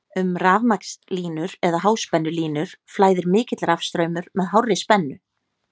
um rafmagnslínur eða háspennulínur flæðir mikill rafstraumur með hárri spennu